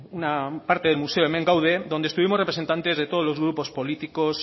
un del museo hemen gaude donde estuvimos representantes de todos los grupos políticos